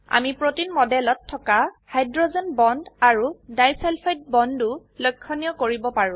আমি প্ৰটিণ মডেলত থকা হাইড্ৰোজেন বন্ড আৰু ডাই সালফাইড বন্ডও লক্ষনীয় কৰিব পাৰো